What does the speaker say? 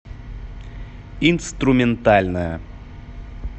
инструментальная